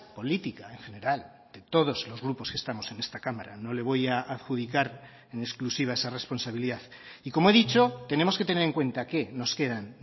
política en general de todos los grupos que estamos en esta cámara no le voy a adjudicar en exclusiva esa responsabilidad y como he dicho tenemos que tener en cuenta que nos quedan